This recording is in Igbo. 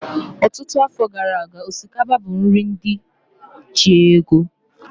Ọtụtụ afọ gara aga, osikapa bụ nri ndị ji ego